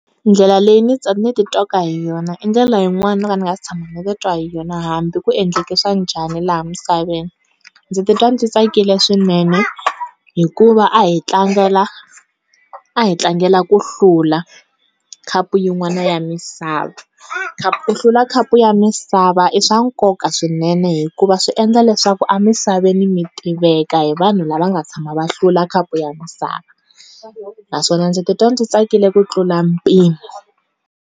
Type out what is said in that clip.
Ndlela leyi ni ni ti twaka hi yona i ndlela yin'wana no ka ni nga se tshama ni ti twa hi yona hambi ku endleke swa njhani laha misaveni. Ndzi ta twa ndzi tsakile swinene hikuva a hi tlangela a hi tlangela ku hlula, khapu yin'wana ya misava. Ku hlula khapu ya misava i swa nkoka swinene hikuva swi endla leswaku a misaveni mi tiveka hi vanhu lava nga tshama va hlula khapu ya misava, naswona ndzi ti twa ndzi tsakile ku tlula mpimo.